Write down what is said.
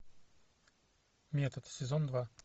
метод сезон два